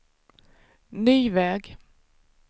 ny väg